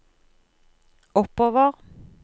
oppover